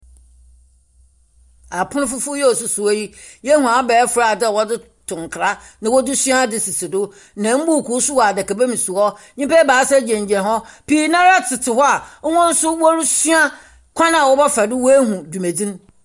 Apon fofor a osisi hɔ yi, yehu abɛɛfo adze a wɔdze to nkra na wɔdze sua adze sisi do. Na mbuukuu nso wɔ adaka ba mu si hɔ. Nnyimapa gyinagyina hɔ. Pii no ara tete hɔ a, hɔn nso wɔresua kwan a wɔbɛfa do wɔahu dwumadzi no.